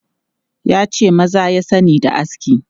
Ya ce maza ya sani da aski.